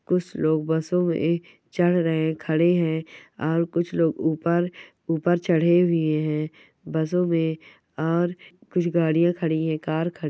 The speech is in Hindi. कुछ लोग बसों में ये चढ़ रहे खड़े हैं और कुछ लोग ऊपर ऊपर चढ़ हुए हैं बसों में और कुछ गाड़ियां खड़ी हैं। कार ख --